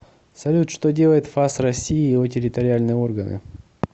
салют что делает фас россии и его территориальные органы